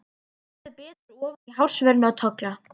Þeir skoðuðu betur ofan í hársvörðinn á Tolla.